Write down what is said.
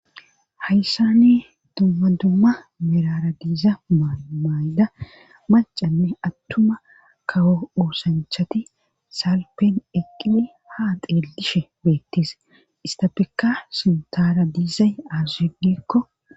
hayssani dumma dumma mirara diiza mayda macanne attuma kawo uosanchati salpen eqqili ha xeellishe beettis istapeka sintaara diizay aazushedikko.